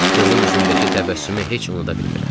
Qızın üzündəki təbəssümü heç unuda bilmirəm.